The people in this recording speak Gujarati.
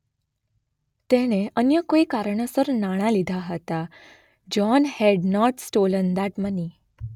તેણે અન્ય કોઇ કારણોસર નાણાં લીધાં હતાં. John had not stolen that money.